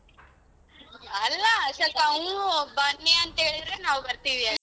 ಅಲ್ಲ ಸಲ್ಪ ಹೂ ಬನ್ನಿ ಅಂತ ಹೇಳಿದ್ರೆ ನಾವ್ ಬರ್ತೀವಿ.